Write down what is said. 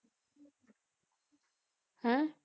ਹੈਂ